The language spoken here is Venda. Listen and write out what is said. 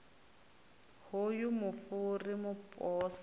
hoyu mufu ri mu pose